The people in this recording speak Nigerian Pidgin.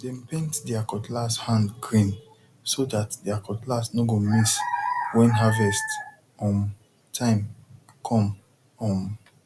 dem paint there cutlass hand green so that their cutlass no go miss when harvest um time come um